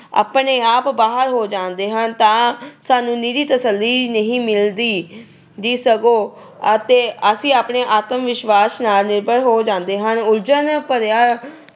ਆਪਣੇ ਆਪ ਬਾਹਰ ਹੋ ਜਾਂਦੇ ਹਨ ਤਾਂ ਸਾਨੂੰ ਇਕੱਲੀ ਤਸੱਲੀ ਹੀ ਨਹੀਂ ਮਿਲਦੀ। ਸਗੋਂ ਅਤੇ ਅਸੀਂ ਆਤਮਵਿਸ਼ਵਾਸ ਨਾਲ ਨਿਰਭਰ ਹੋ ਜਾਂਦੇ ਹਾਂ। ਉਲਝਣ ਭਰੀਆਂ